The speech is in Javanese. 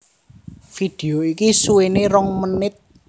Vidéo iki suwéné rong menit